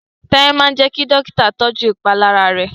T'aiye má jé kí Dọ́kítà tọjú ìpalára rẹ?